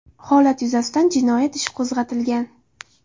Holat yuzasidan jinoyat ishi qo‘zg‘atilgan .